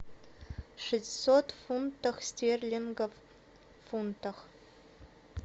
шестьсот фунтов стерлингов в фунтах